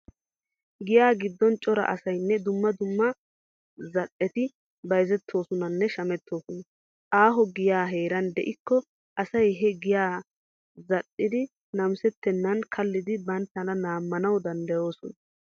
Giyaa giddon cora. asaynne. dumma dumma za"eti bayzettoosonanne shamettoosona. Aaho giyay heeran de'ikko asay he giyan za"idi namisettennan kallidi banttana laammanwu danddayoosona.